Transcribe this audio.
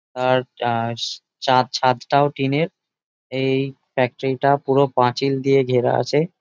আর টা- চাঁদ ছাদটাও টিনের এই ফ্যাক্টরি -টা পুরো পাঁচিল দিয়ে গেরা আছে ।